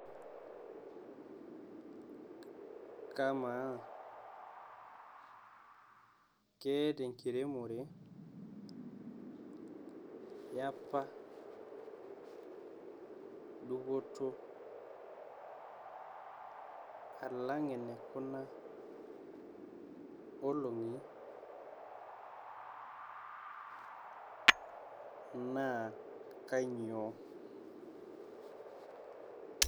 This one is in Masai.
Kamaa, keeta engiremore eapa dupoto alang ene Kuna olong'i naa kanyio.